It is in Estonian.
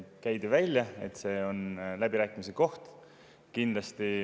Käidi välja, et see on läbirääkimise koht.